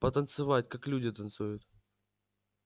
потанцевать как люди танцуют